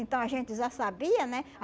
Então, a gente já sabia, né?